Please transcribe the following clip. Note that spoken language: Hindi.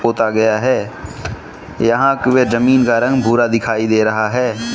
पोता गया है यहां का जमीन का रंग भूरा दिखाई दे रहा है।